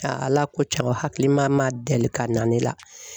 Ala ko tiɲɛn o hakilimama deli ka na ne la.